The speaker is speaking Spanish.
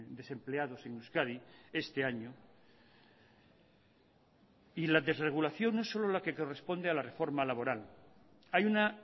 desempleados en euskadi este año y la desregulación no es solo la que corresponde a la reforma laboral hay una